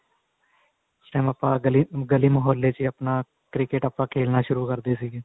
ਉਸ time ਆਪਾਂ ਗਲੀ ਮੁਹਲੇ ਚ ਹੀ ਆਪਣਾ cricket ਆਪਾਂ ਖੇਲਣਾ ਸ਼ੁਰੂ ਕਰਦੇ ਸੀਗੇ